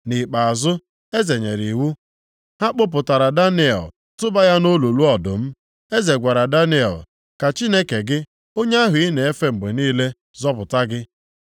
Nʼikpeazụ, eze nyere iwu, ha kpụpụtara Daniel tụba ya nʼolulu ọdụm. Eze gwara Daniel, “Ka Chineke gị, onye ahụ ị na-efe mgbe niile, zọpụta gị.”